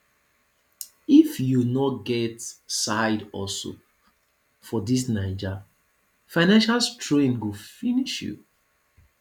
if you no get side hustle for dis naija financial strain go finish you